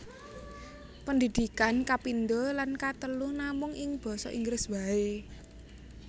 Pendidikan kapindho lan katelu namung ing basa Inggris waé